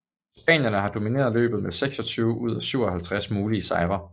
Spanierne har domineret løbet med 26 ud af 57 mulige sejre